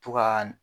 To ka